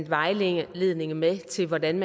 vejledning med til hvordan